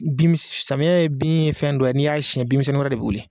Bin samiya ye bin fɛn do ye n'i y'a siɲɛ binmisɛnnin wɛrɛ de bɛ wili.